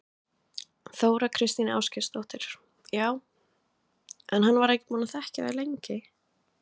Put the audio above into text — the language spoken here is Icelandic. Þóra Kristín Ásgeirsdóttir: Já, en hann var ekki búinn að þekkja þau lengi?